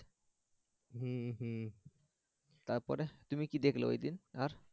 হম হম তারপরে তুমি কি দেখলা ওই দিন আর?